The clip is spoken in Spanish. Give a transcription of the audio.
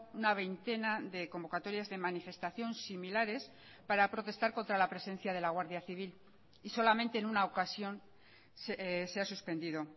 una veintena de convocatorias de manifestación similares para protestar contra la presencia de la guardia civil y solamente en una ocasión se ha suspendido